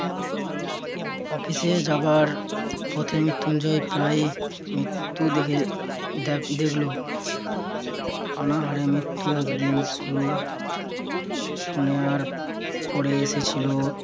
অফিসে যাবার পথে মৃত্যুঞ্জয় প্রায় মৃত্যু দেখে~ দেখ~ দেখল। অনাহারে মৃত্যু একদিন শুরু শোনে আর পরে এসেছিল